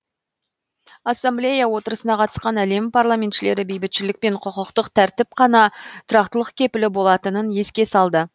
ассамблея отырысына қатысқан әлем парламентшілері бейбітшілік пен құқықтық тәртіп қана тұрақтылық кепілі болатынын еске салды